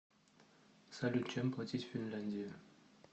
салют чем платить в финляндии